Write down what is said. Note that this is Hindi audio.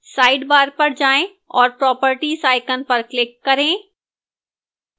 sidebar पर जाएं और properties icon पर click करें